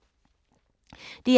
DR1